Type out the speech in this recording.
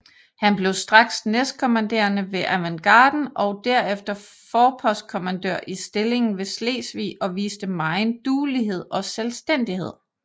Han blev straks næstkommanderende ved avantgarden og derefter forpostkommandør i stillingen ved Slesvig og viste megen duelighed og selvstændighed